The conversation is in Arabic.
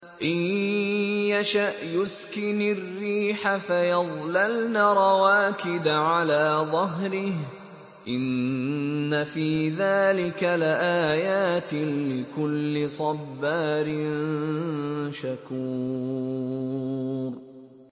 إِن يَشَأْ يُسْكِنِ الرِّيحَ فَيَظْلَلْنَ رَوَاكِدَ عَلَىٰ ظَهْرِهِ ۚ إِنَّ فِي ذَٰلِكَ لَآيَاتٍ لِّكُلِّ صَبَّارٍ شَكُورٍ